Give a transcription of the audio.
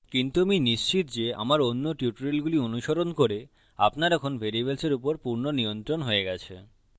কিন্তু আমি নিশ্চিত যে আমার অন্য টিউটোরিয়ালগুলি অনুসরণ করে আপনার এখন ভ্যারিয়েবলস এর উপর পূর্ণ নিয়ন্ত্রণ হয়ে গেছে